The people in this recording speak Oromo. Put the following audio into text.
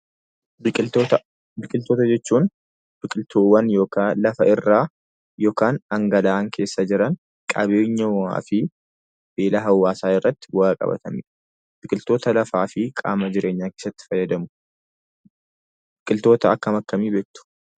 Biqiloota: Biqiltuu jechuun biqiltoota lafa irraa yookaan kan galaana keessa jiran qabeenya uumamaa fi beela hawwaasaa irratti bu'aa qabaatanidha. Biqiltoota lafaa fi qaama jireenyaa keessatti fayyadamu. Biqiltoota akkam akkamii beektu?